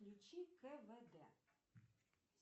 включи квд